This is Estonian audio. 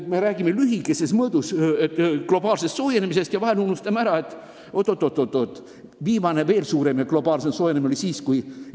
Me räägime viimase aja globaalsest soojenemisest ja vahel unustame ära, et oot-oot-oot, veel suurem ja globaalsem soojenemine oli juba väga ammu.